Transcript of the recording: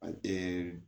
A tɛ